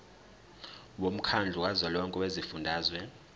womkhandlu kazwelonke wezifundazwe